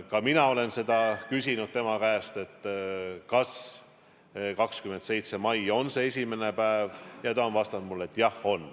Ka mina olen tema käest küsinud, kas 27. mai on see esimene päev, ja ta on vastanud mulle, et jah on.